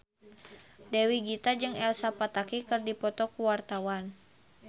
Dewi Gita jeung Elsa Pataky keur dipoto ku wartawan